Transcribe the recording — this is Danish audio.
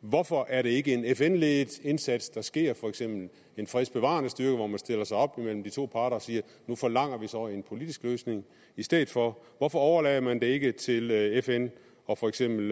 hvorfor er det ikke en fn ledet indsats der sker for eksempel en fredsbevarende styrke hvor man stiller sig op imellem de to parter og siger at nu forlanger vi så en politisk løsning i stedet for hvorfor overlader man det ikke til fn og for eksempel